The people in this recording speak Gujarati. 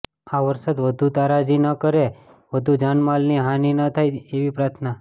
આ વરસાદ વધુ તારાજી ન કરે વધુ જાનમાલની હાનિ ન થાય એવી પ્રાથના